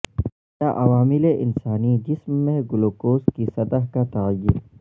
کیا عوامل انسانی جسم میں گلوکوز کی سطح کا تعین